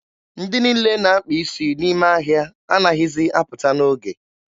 Ndị niile na-akpa isi n'ime ahịa anaghịzi apụta n'oge.